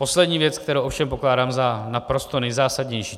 Poslední věc, kterou ovšem pokládám za naprosto nejzásadnější.